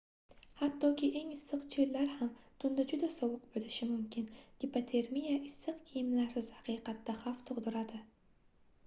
hattoki eng issiq choʻllar ham tunda juda sovuq boʻlishi mumkin gipotermiya issiq kiyimlarsiz haqiqatda xavf tugʻdiradi